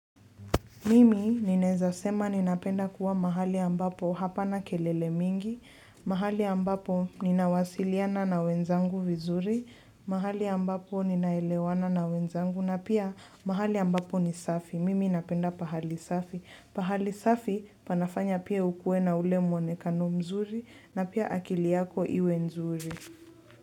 Mimi ninaeza sema ninapenda kuwa mahali ambapo hapana kelele mingi, mahali ambapo nina wasiliana na wenzangu vizuri, mahali ambapo ninaelewana na wenzangu na pia mahali ambapo ni safi. Mimi napenda pahali safi. Pahali safi panafanya pia ukue na ule muonekano mzuri na pia akili yako iwe nzuri.